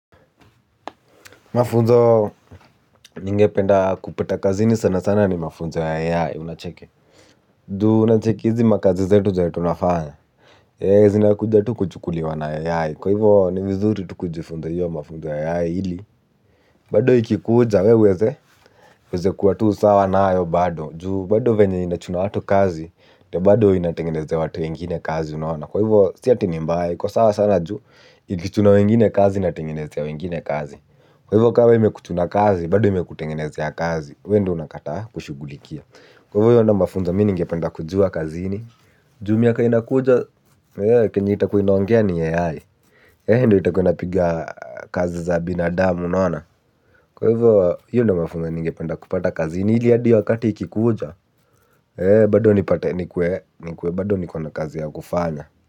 Mafunzo ningependa kupata kazini ni ya ai sabab ju unacheki hizi makazi zetu tunafanya zinaenda kuchukluliuwa tu na ai unacheki bado ikikuja weweze weze kua tu sawa nayo bado juu bado venye ina chuna watu kazi ne bado inatingeneze watu wengine kazi unaona kwa hivo siya tini mbaye kwa sawa sana juu ikichuna wengine kazi inatingeneze ya wengine kazi. Kwa hivyo kawa imekutuna kazi, bado imekutengenezea kazi, we ndo unakata kushugulikia. Kwa hivyo hivyo ndo mafunza mininge penda kujua kazini Jumia kainakuja, kenye itakuinoangea ni yehai He hivyo ndo itakua ina piga kazi za binadamu nana. Kwa hivyo hivyo hivyo ndo mafunza ninge penda kupata kazini. Hili aadi wakati ikikuja, bado nipate nikwe, nikwe, bado nikona kazi ya kufanya.